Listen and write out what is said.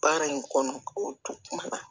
Baara in kɔnɔ o tun na